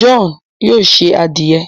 John yóò se adiẹ